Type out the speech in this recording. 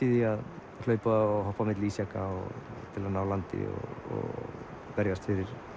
í að hlaupa og hoppa á milli ísjaka til að ná landi og berjast